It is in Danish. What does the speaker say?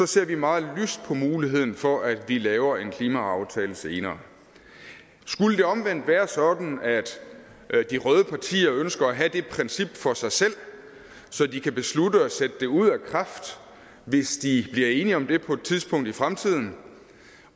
ser vi meget lyst på muligheden for at vi laver en klimaaftale senere skulle det omvendt være sådan at de røde partier ønsker at have det princip for sig selv så de kan beslutte at sætte det ud af kraft hvis de bliver enige om det på et tidspunkt i fremtiden